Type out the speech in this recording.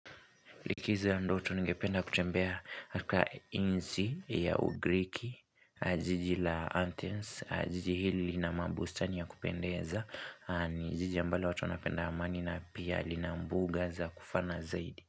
Likizo ya ndoto nigependa kutembea katika nchi ya ugriki, jiji la anthens, jiji hili lina mabustani ya kupendeza, ni jiji ambalo watu wanapenda amani na pia lina mbuga za kufana zaidi.